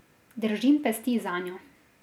Držim pesti zanjo.